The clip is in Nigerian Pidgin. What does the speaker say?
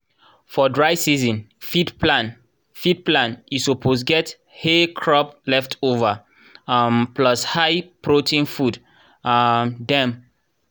for dry season feed plan feed plan e suppose get hay crop leftover um plus high-protein food um dem.